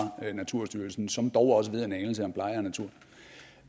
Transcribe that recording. naturstyrelsen som dog også ved en anelse om pleje